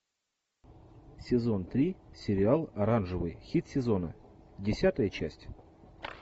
сезон три сериал оранжевый хит сезона десятая часть